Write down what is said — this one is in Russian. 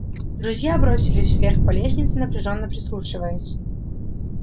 друзья бросились вверх по лестнице напряжённо прислушиваясь